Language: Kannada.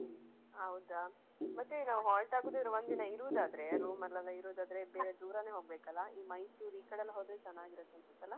ಹೌದಾ ಮತ್ತೆ ಈಗ ನಾವು halt ಆಗೂದಾದ್ರೆ ಒಂದ್ ದಿನ ಇರುದಾದ್ರೆ room ಅಲ್ಲೆಲ್ಲ ಇರುದಾದ್ರೆ ಬೇರೆ ದೂರಾನೆ ಹೋಗ್ಬೇಕಲ್ಲಾ ಈ ಮೈಸೂರ್ ಈಕಡೆಲ್ಲಾ ಹೋದ್ರೆ ಚೆನ್ನಾಗಿರುತ್ತೆ ಅಂತ ಅಲಾ.